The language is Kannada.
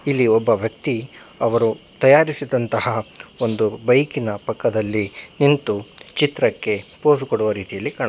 ಇಲ್ಲಿ ಒಬ್ಬ ವ್ಯಕ್ತಿ ಅವರು ತಯಾರಿಸಿದಂತಹ ಒಂದು ಬೈಕಿನ ಪಕ್ಕದಲ್ಲಿ ನಿಂತು ಚಿತ್ರಕ್ಕೆ ಪೋಸ್ ಕೊಡುವ ರೀತಿಯಲ್ಲಿ.